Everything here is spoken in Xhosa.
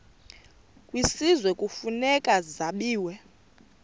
kwisizwe kufuneka zabiwe